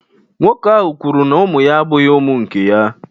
Nwoke ahụ kwuru na ụmụ ya abụghị ụmụ nke ya